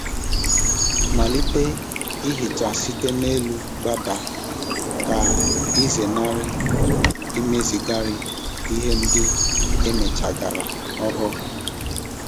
Malite ihicha site n'elu gbadaa ka ịzenarị imezigharị ihe ndị emechara ọhụrụ.